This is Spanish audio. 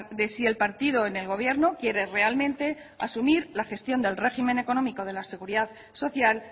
de si el partido en el gobierno quiere realmente asumir la gestión del régimen económico de la seguridad social